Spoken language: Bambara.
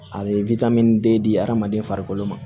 A bɛ den di hadamaden farikolo ma